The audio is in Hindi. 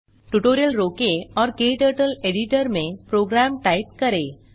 ट्यूटोरियल रोकें और क्टर्टल एडिटर में प्रोग्राम टाइप करें